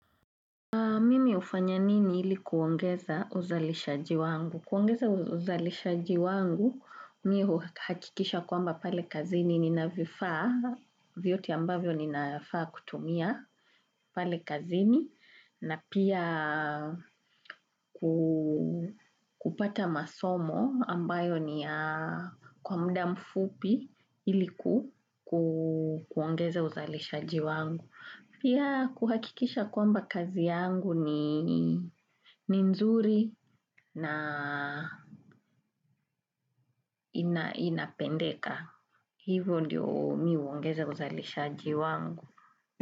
Mimi hufanya nini ili kuongeza uzalishaji wangu? Kuongeza uzalishaji wangu, mimi huhakikisha kwamba pale kazini nina vifaa, vyote ambavyo ninafaa kutumia pale kazini, na pia kupata masomo ambayo ni kwa muda mfupi ili kuongeza uzalishaji wangu. Pia kuhakikisha kwamba kazi yangu ni nzuri na inapendeka. Hivyo ndiyo mimi huongeza uzalishaji wangu.